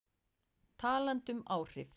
Talandi um áhrif.